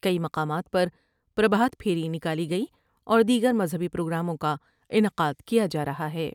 کئی مقامات پر پر بھات پھیری نکالی گئی اور دیگر مذہبی پروگراموں کا انعقاد کیا جا رہا ہے ۔